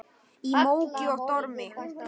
Í móki og dormi.